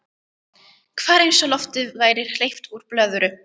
Hvarf eins og lofti væri hleypt úr blöðru.